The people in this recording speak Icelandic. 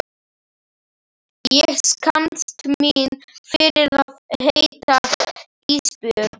Ég skammast mín fyrir að heita Ísbjörg.